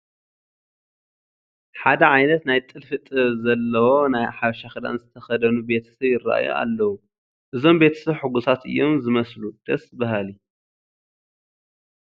ሓደ ዓይነት ናይ ጥልፊ ጥበብ ዘለዎ ናይ ሓበሻ ክዳን ዝተኸደኑ ቤተ ሰብ ይርአዩ ኣለዉ፡፡ እዞም ቤተሰብ ሕጉሳት እዮም ዝመስሉ፡፡ ደስ በሃሊ፡፡